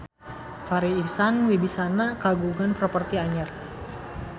Farri Icksan Wibisana kagungan properti anyar